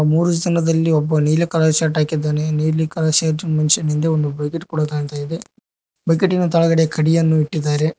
ಮೂರು ಜನರಲ್ಲಿ ಒಬ್ಬ ನೀಲಿ ಕಲರ್ ಶರ್ಟ್ ಹಾಕಿದ್ದಾನೆ ನೀಲಿ ಕಲರ್ ಶರ್ಟ್ ಮನುಷ್ಯನಿಂದೆ ಒಂದು ಬಕಿಟ್ ಕೂಡ ಕಾಣ್ತಾ ಇದೆ ಬಕಿಟಿ ನ ಕೆಳಗಡೆ ಕಡಿಯನ್ನು ಇಟ್ಟಿದ್ದಾರೆ.